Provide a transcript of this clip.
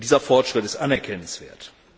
Und dieser Fortschritt ist anerkennenswert.